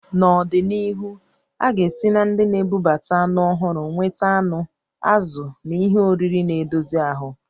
Nọdịnihu, a ga-esi na ndị na-ebubata anụ ọhụrụ nweta anụ, azụ̀ na ihe oriri na-edozi ahụ